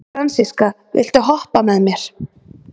Fransiska, viltu hoppa með mér?